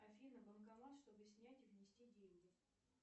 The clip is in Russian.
афина банкомат чтобы снять и внести деньги